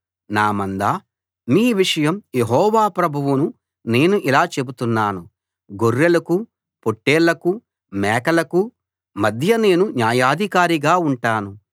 నా మందా మీ విషయం యెహోవా ప్రభువును నేను ఇలా చెబుతున్నాను గొర్రెలకూ పొట్టేళ్లకూ మేకలకూ మధ్య నేను న్యాయాధికారిగా ఉంటాను